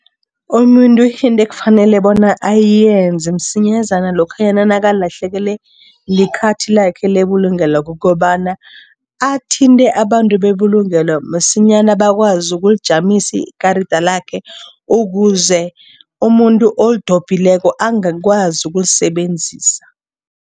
Umuntu into ekufanele bona ayenze msinyazana lokhanyana nakalahlekelwe likhathi lakhe lebulungelo kukobana, athinte abantu bebulungelo masinyana, bakwazi ukulimajamisa ikarada lakhe ukuze umuntu olidobhileko angakwazi ukulisebenzisa.